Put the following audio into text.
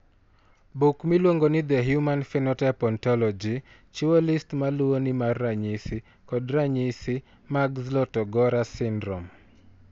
Buk miluongo ni The Human Phenotype Ontology chiwo list ma luwoni mar ranyisi kod ranyisi mag Zlotogora syndrome.